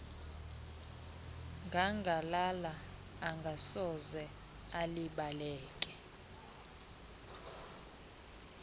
ngangalala engasoze ilibaleke